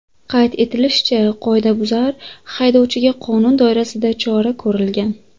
Qayd etilishicha, qoidabuzar haydovchiga qonun doirasida chora ko‘rilgan.